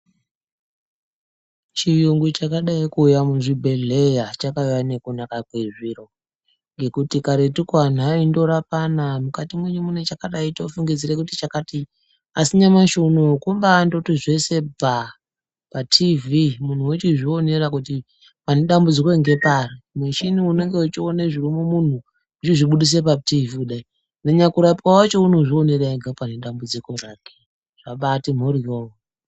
Chiyungu chakadai kuuya mwuzvibhedheya chakauya nokunaka kwezviro. Ngekuti karetuko anthu aindorapana mukati mwenyu mwune chakadai tofungidzira kuti chakati. Asi nyamashi unou kumbandoti zve bvaa patiivhi munthu wochizvionera kuti pane dambudziko ngepari. Mushini uyu unenge uchiona zviri mumunthu uchizvibudisa patiivhii kudai nanyakurapiwa wacho unozvionera ega pane dambudziko rake. Zvakabaati mphoryo.